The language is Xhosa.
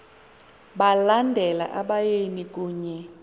balandela abayeni kunye